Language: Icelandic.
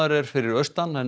er fyrir austan en